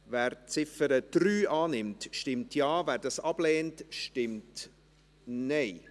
Wer die Ziffer 3 dieser Motion annimmt, stimmt Ja, wer dies ablehnt, stimmt Nein.